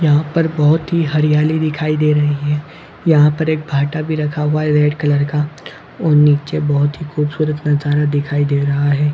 यहाँ ऊपर बहुत ही हरियाली दिखाई दे रही है यहाँ पे एक भाटा भी रखा हुआ है रेड का और नीचे बहुत ही खूबसूरत नज़ारा दिखाई दे रहा हैं ।